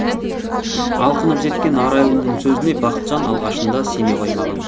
алқынып жеткен арайлымның сөзіне бақытжан алғашында сене қоймаған